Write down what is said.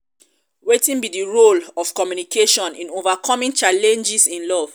wetin be di role of communication in overcoming challenges in love?